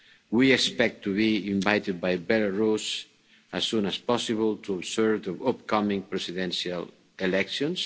rights. We expect to be invited by Belarus as soon as possible to observe the upcoming presidential elections.